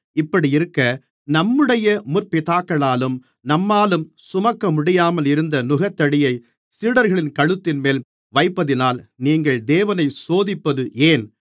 இப்படியிருக்க நம்முடைய முற்பிதாக்களாலும் நம்மாலும் சுமக்கமுடியாமல் இருந்த நுகத்தடியைச் சீடர்களின் கழுத்தின்மேல் வைப்பதினால் நீங்கள் தேவனை சோதிப்பது ஏன்